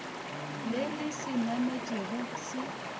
le le se nametšego se